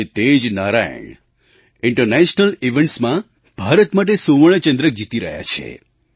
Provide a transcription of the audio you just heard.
આજે તે જ નારાયણ ઇન્ટરનેશનલ eventsમાં ભારત માટે સુવર્ણ ચંદ્રક જીતી રહ્યા છે